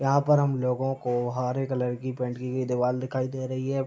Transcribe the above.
यहां पर हमलोगो को हरे कलर की देवाल दिखाई दे रही है।